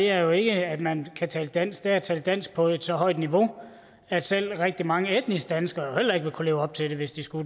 er jo ikke at man kan tale dansk det er at tale dansk på et så højt niveau at selv rigtig mange etniske danskere heller ikke ville kunne leve op til det hvis de skulle